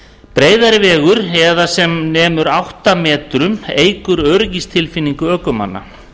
breiðari vegur eða sem nemur átta metrum eykur öryggistilfinningu ökumanna